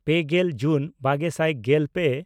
ᱯᱮᱜᱮᱞ ᱡᱩᱱ ᱵᱟᱜᱮ ᱥᱟᱭ ᱜᱮᱞᱯᱮ